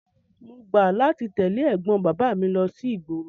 Mo gbà láti tẹ̀lé ẹ̀gbọ́n bàbá mi lọ sí ìgboro.